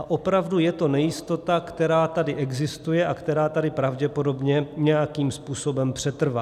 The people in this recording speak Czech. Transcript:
A opravdu je to nejistota, která tady existuje a která tady pravděpodobně nějakým způsobem přetrvá.